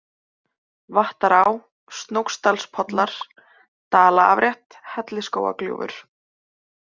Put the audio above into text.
Vattará, Snóksdalspollar, Dalaafrétt, Hellisskógagljúfur